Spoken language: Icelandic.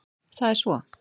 Það er svo.